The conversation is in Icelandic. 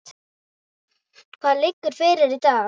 Hvað liggur fyrir í dag?